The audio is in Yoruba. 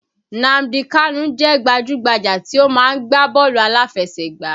Nnamdi kanu jẹ́ gbajú-gbajà tí ó máa ń gbá bọ́ọ̀lù aláfẹsẹ̀gbá